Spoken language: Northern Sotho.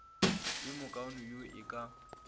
yo mokaone yo e ka